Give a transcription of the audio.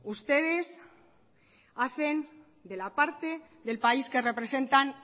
ustedes hacen de la parte del país que representan